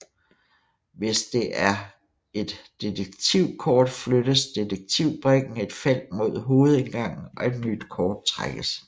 Hvis det er et detektivkort flyttes detektivbrikken et felt mod hovedindgangen og et nyt kort trækkes